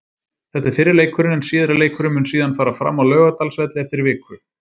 Þetta er fyrri leikurinn en síðari leikurinn mun síðan fara fram á Laugardalsvelli eftir viku.